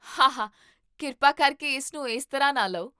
ਹਾਹਾ ਕਿਰਪਾ ਕਰਕੇ ਇਸ ਨੂੰ ਇਸ ਤਰ੍ਹਾਂ ਨਾ ਲਓ